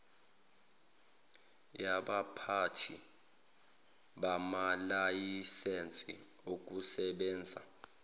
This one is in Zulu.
yabaphathi bamalayisense okusebenzisa